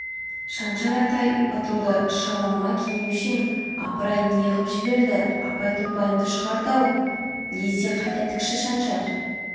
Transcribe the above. шаншар атай ұтылды шалымыма келмеуші ең апырай не ғып жіберді апай-топайымды шығарды-ау лезде қайта тікші шаншар